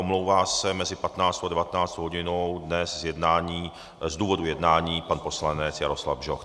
Omlouvá se mezi 15. a 19. hodinou dnes z jednání z důvodu jednání pan poslanec Jaroslav Bžoch.